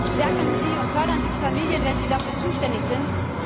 Stärken und fördern Sie die Familie, wenn Sie dafür zuständig sind.